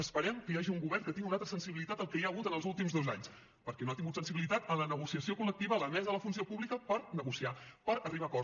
esperem que hi hagi un govern que tingui una altra sensibilitat del que hi ha hagut en els últims dos anys perquè no ha tingut sensibilitat en la negociació col·lectiva en la mesa de la funció pública per negociar per arribar a acords